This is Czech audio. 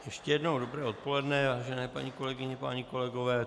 Ještě jednou dobré odpoledne, vážené paní kolegyně, páni kolegové.